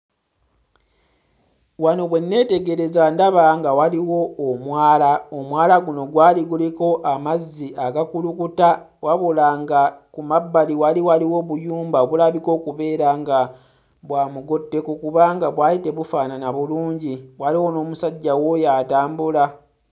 Wano bwe nneetegereza ndaba nga waliwo omwala omwala guno gwali guliko amazzi agakulukuta wabula nga kumabbali wali waliwo obuyumba obulabika okubeera nga bwa mugotteko kubanga bwali tebufaanana bulungi waliwo n'omusajja wuuyo atambula.